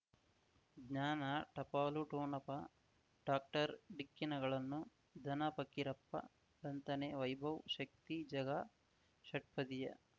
ಜ್ಞಾನ ಟಪಾಲು ಠೋಣಪ ಡಾಕ್ಟರ್ ಢಿಕ್ಕಿ ಣಗಳನು ಧನ ಫಕೀರಪ್ಪ ಳಂತಾನೆ ವೈಭವ್ ಶಕ್ತಿ ಝಗಾ ಷಟ್ಪದಿಯ